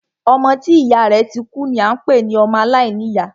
Ọmọ tí ìyá rẹ̀ ti kú ni a ń pé ní ọmọ aláìníyá.